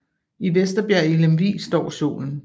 I Vesterbjerg i Lemvig står Solen